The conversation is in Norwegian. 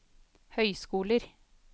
høyskoler